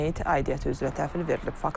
Meyit aidiyyəti üzrə təhvil verilib.